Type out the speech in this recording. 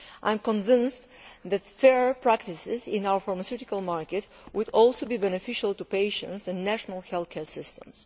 I am convinced that fair practices in our pharmaceutical market would also be beneficial to patients and national healthcare systems.